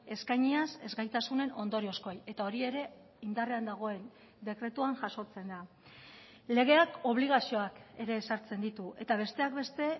eskainiaz ezgaitasunen ondoriozkoei eta hori ere indarrean dagoen dekretuan jasotzen da legeak obligazioak ere ezartzen ditu eta besteak beste